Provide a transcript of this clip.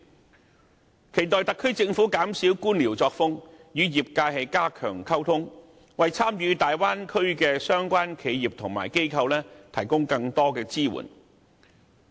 我期待特區政府一改官僚作風，與業界加強溝通，為參與大灣區的相關企業和機構提供更多支援。